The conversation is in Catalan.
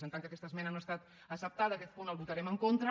en tant que aquesta esmena no ha estat acceptada a aquest punt hi votarem en contra